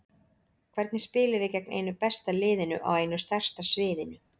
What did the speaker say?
Hvernig spilum við gegn einu besta liðinu á einu stærsta sviðinu?